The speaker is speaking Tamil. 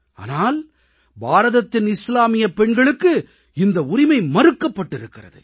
ஆனால் பாரதத்தின் இஸ்லாமியப் பெண்களுக்கு இந்த உரிமை மறுக்கப்பட்டிருக்கிறது